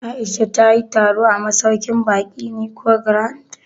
Aisha ta yi taro a masauƙin baƙin Nicon Grand?